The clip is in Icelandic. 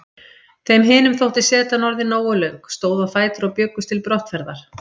Þeim hinum þótti setan orðin nógu löng, stóðu á fætur og bjuggust til brottferðar.